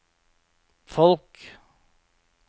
folk